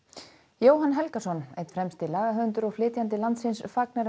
Jóhann Helgason einn fremsti lagahöfundur og flytjandi landsins fagnar um